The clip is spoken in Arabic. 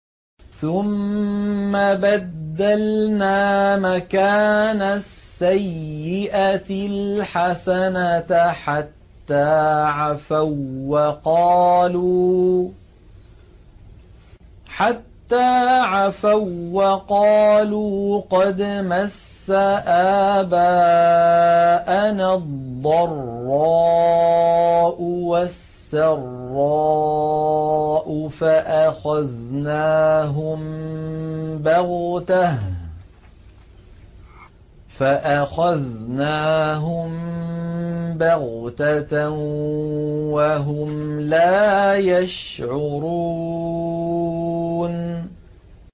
ثُمَّ بَدَّلْنَا مَكَانَ السَّيِّئَةِ الْحَسَنَةَ حَتَّىٰ عَفَوا وَّقَالُوا قَدْ مَسَّ آبَاءَنَا الضَّرَّاءُ وَالسَّرَّاءُ فَأَخَذْنَاهُم بَغْتَةً وَهُمْ لَا يَشْعُرُونَ